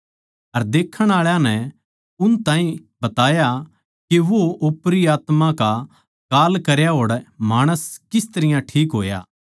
अर देखण आळा नै उन ताहीं बताया के वो ओपरी आत्मायाँ का कांल करया होड़ माणस किस तरियां ठीक होया